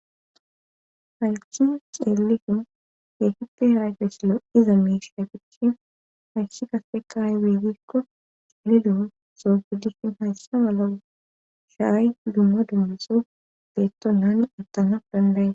Halci ceelifin geehippe hiraygesilo iza miishia bicshin halshi kasfe kaay wegikko calidu soogiddihin hayssa mala shaay dumma dummiso deetto nani attanaf dandayee